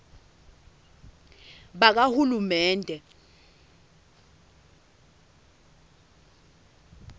bakahulumende